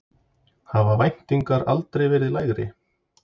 Hafa væntingarnar aldrei verið lægri?